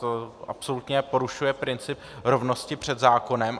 To absolutně porušuje princip rovnosti před zákonem.